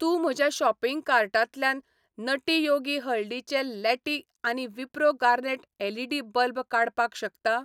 तूं म्हज्या शॉपिंग कार्टांतल्यान नटी योगी हळदीचें लॅटी आनी विप्रो गार्नेट एलईडी बल्ब काडपाक शकता?